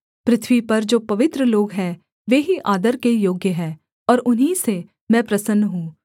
पृथ्वी पर जो पवित्र लोग हैं वे ही आदर के योग्य हैं और उन्हीं से मैं प्रसन्न हूँ